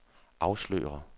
afslører